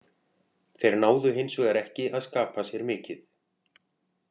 Þeir náðu hinsvegar ekki að skapa sér mikið.